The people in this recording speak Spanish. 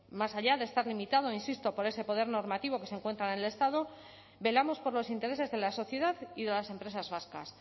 más allá de estar limitado insisto por ese poder normativo que se encuentra en el estado velamos por los intereses de la sociedad y de las empresas vascas